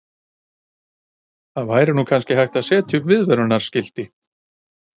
Það væri nú kannski hægt að setja upp viðvörunarskilti